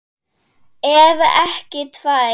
Ef ekki tvær.